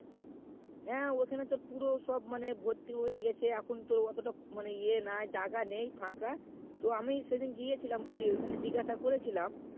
হ্যাঁ ওখানে তোর পুরো সব মানে ভর্তি হয়েগেছে এখন তো অতটা মানে ই নাই জাগা নাই ফাঁকা তো আমি সেদিন গিয়েছিলাম বুঝলি জিগাসা করছিলাম